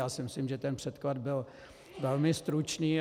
Já si myslím, že ten předklad byl velmi stručný.